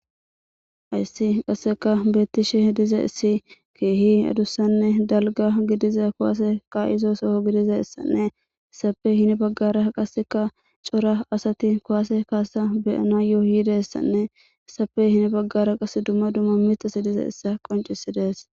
ayssi qasseka beettishe diza issi keehi adussanne dalga gidiza kowaase qa izo soho gidiza issanne issape hini baggara qasseka cora asati kowase kaasa beyana yooyiidayessanne issae hini baggara qase dumma dumma mixasi diza issa qoncisi dees